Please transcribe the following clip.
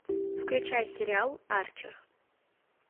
включай сериал арчер